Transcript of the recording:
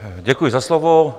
Děkuji za slovo.